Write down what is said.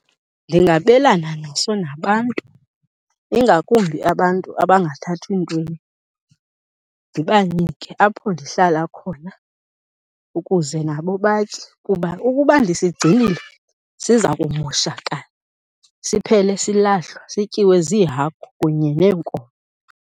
Ndingabelana naso nabantu, ingakumbi abantu abangathathi ntweni, ndibanike apho ndihlala khona ukuze nabo batye kuba ukuba ndisigcinile siza kumoshakala siphele silahlwa, sityiwe ziihagu kunye neenkomo.